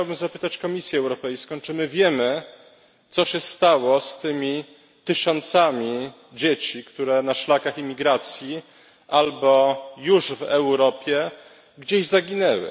Ja chciałbym zapytać Komisję Europejską, czy my wiemy, co się stało z tymi tysiącami dzieci, które na szlakach imigracji albo już w Europie gdzieś zaginęły